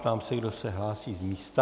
Ptám se, kdo se hlásí z místa.